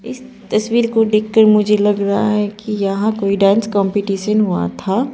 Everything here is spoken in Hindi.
इस तस्वीर को देख कर मुझे लग रहा है कि यहा कोई डांस कॉम्पटीशन हुआ था।